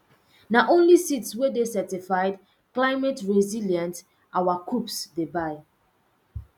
na only seeds wey dey certified cliemateresilient our coops dey buy